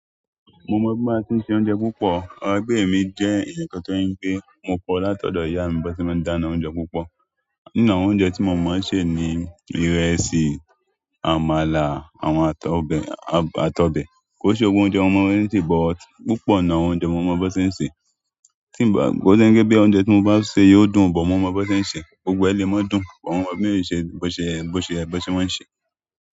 Mo mọ bí a ṣe ń se oúnjẹ púpọ̀. Emi jẹ́ eyan kan tó ń je pé mo kọ́ láti ọ̀dọ̀ ìyá mi bi won se máa ń dáná oúnjẹ púpọ̀. Ìnáwó oúnjẹ tí mo mọ̀ ọ́n ṣe ni ìrẹsì, àmàlà, àwọn àtọ̀bẹ̀, àtọ̀bẹ̀. Kò se gbogbo oúnjẹ mo mo bo sen se bọ̀ ọ́ púpọ̀ nìnu awón oúnjẹ mo mọ̀ bó ti ṣe ń ṣe. Tí nì bá, kó se wípé òúnjẹ tí mo bá ṣe yóò dùn, bó mọ̀ mo bó ti ṣe ń ṣe. Gbogbo ẹ le mọ̀ dùn bó mọ̀ mo bó ti ṣe ń ṣe.